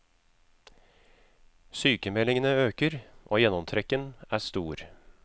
Sykemeldingene øker og gjennomtrekken er stor.